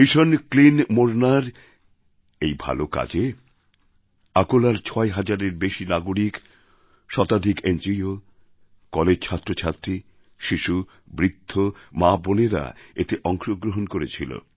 mission clean মোরনার এই ভালো কাজে অকোলার ছয় হাজারের বেশি নাগরিক শতাধিক এনজিও কলেজ ছাত্রছাত্রী শিশু বৃদ্ধ মাবোনেরা এতে অংশ গ্রহণ করেছিল